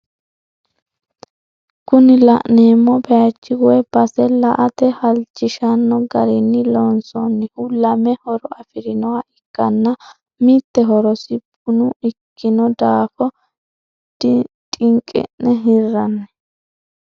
Kuni la'neemo bayiichi woye base la"ate halchishanno garinni lonsoonnihu lame horo afirinoha ikkanna mitte horosi buna ikkino daafo dhinqi'ne hirranni.